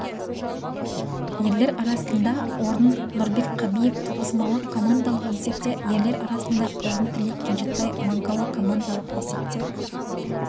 ерлер арасында орын нұрбек қабиев тоғызқұмалақ командалық есепте ерлер арасында орын тілек кенжетай мангала командалық есепте